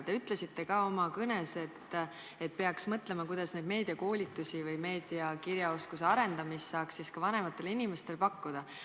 Te ütlesite ka oma kõnes, et peaks mõtlema, kuidas meediakoolitusi või meediakirjaoskuse arendamist saaks ka vanematele inimestele pakkuda.